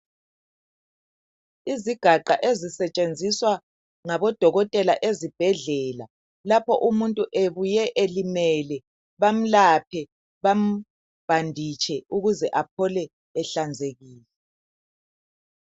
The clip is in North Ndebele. Izigaqa ezisetshenziswa ngabodokotela ezibhedlela lapho umuntu ebuye elimele, bamlaphe, bambhanditshe ukuze aphole ehlanzekile.